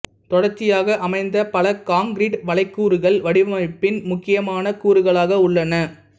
தொடர்ச்சியாக அமைந்த பல காங்கிரீட்டு வளைகூரைகள் வடிவமைப்பின் முக்கியமான கூறுகளாக உள்ளன